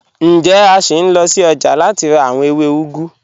Njẹ̀, a ṣín lọ sí ọ́jà láti rà awọn èwé úgù?